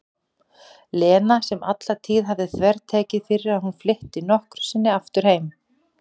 Lena sem alla tíð hafði þvertekið fyrir að hún flytti nokkru sinni aftur heim.